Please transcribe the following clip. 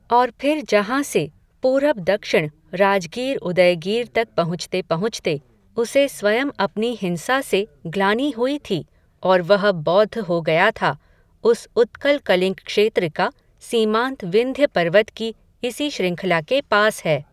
और फिर जहां से, पूरब दक्षिण, राजगीर उदयगीर तक पहुँचते पहुँचते, उसे स्वयं अपनी हिंसा से, ग्लानि हुई थी, और वह बौद्ध हो गया था, उस उत्कल कलिंग क्षेत्र का, सीमांत विंध्य पर्वत की, इसी श्रृंखला के पास है